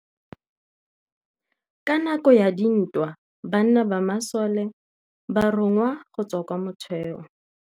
Ka nakô ya dintwa banna ba masole ba rongwa go tswa kwa mothêô.